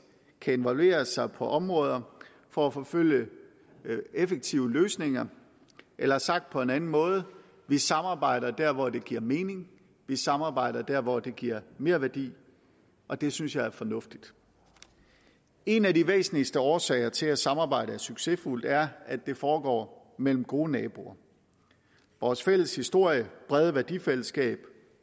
skal involvere sig på områder for at forfølge effektive løsninger eller sagt på en anden måde vi samarbejder der hvor det giver mening vi samarbejder der hvor det giver merværdi og det synes jeg er fornuftigt en af de væsentligste årsager til at samarbejdet er succesfuldt er at det foregår mellem gode naboer vores fælles historie brede værdifællesskab